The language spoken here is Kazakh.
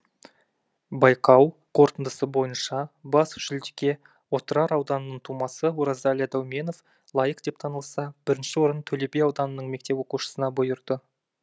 байқау қорытындысы бойынша бас жүлдеге отырар ауданының тумасы оразәлі дәуменов лайық деп танылса бірінші орын төлеби ауданының мектеп оқушысына бұйырды